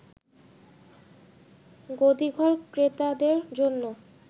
গদিঘর ক্রেতাদের জন্য